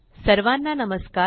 सर्वांना नमस्कार